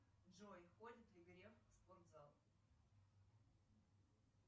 джой ходит ли греф в спортзал